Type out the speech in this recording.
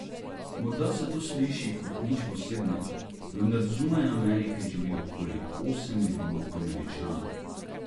Morda se to sliši kot nič posebnega, vendar zunaj Amerike živi okoli osem milijonov Američanov.